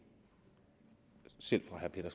selv fra herre